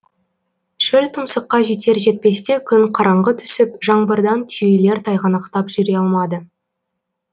шөлтұмсыққа жетер жетпесте күн қараңғы түсіп жаңбырдан түйелер тайғанақтап жүре алмады